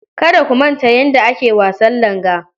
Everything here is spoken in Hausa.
Kada ku manta yadda ake wasan langa.